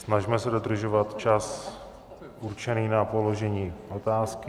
Snažme se dodržovat čas určený na položení otázky.